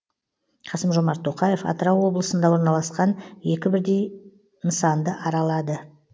қасым жомарт тоқаев атырау облысында орналасқан екі бірдей нысанды аралады